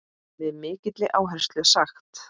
Með mikilli áherslu sagt.